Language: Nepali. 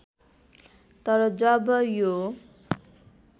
तर जब यो